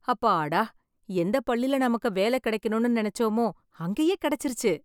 அப்பாடா.. எந்த பள்ளில நமக்கு வேலை கெடைக்கணும்னு நெனச்சமோ, அங்கயே கெடைச்சிருச்சு..